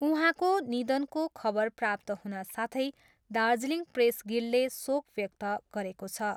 उहाँको निधनको खबर प्राप्त हुन साथै दार्जिलिङ प्रेस गिल्डले शोक व्यक्त गरेको छ।